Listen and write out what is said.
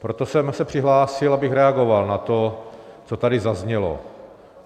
Proto jsem se přihlásil, abych reagoval na to, co tady zaznělo.